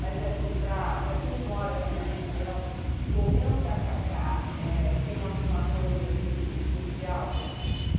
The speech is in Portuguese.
Mas, assim, para para quem mora aqui na região, comer um tacacá, tem alguma coisa, assim, especial?